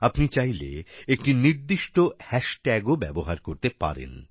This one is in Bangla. আপনি চাইলে একটি নির্দিষ্ট হ্যাশট্যাগও ব্যবহার করতে পারেন